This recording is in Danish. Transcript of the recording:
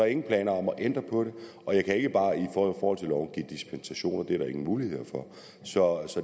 ingen planer om at ændre på det og jeg kan ikke bare give dispensation det er der ingen muligheder for så